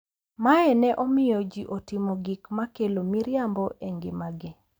Mae ne omiyo ji otimo gik ma kelo miriambo e ngimagi.